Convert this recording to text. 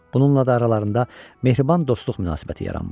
Bununla da aralarında mehriban dostluq münasibəti yaranmışdı.